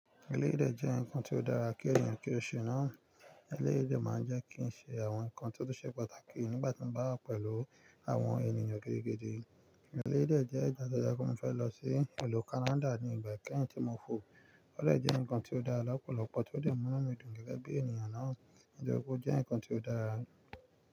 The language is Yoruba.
Eléyìí jẹ́ nǹkan tí ó dára kí èèyàn kí ó ṣe náà. Eléyìí jẹ́ máa jẹ́ kín ṣe àwọn nǹkan tí ó ṣe pàtàkì nígbà tí mo bá pẹ̀lú àwọn ènìyàn gidigidi. Eléyìí de jẹ́ ìdásoja kun mo fẹ́ lọ sí ìlú Canada ní ìgbà kẹ́ẹ̀hin tí mo fò. Ó de jẹ́ nǹkan tí ó dára lọ́pọ̀lọpọ̀ tí ó lè mú ọmọ mi dùn gẹ́gẹ́ bí èniyàn náà. Ìjókòó jẹ́ nǹkan tí ó dára.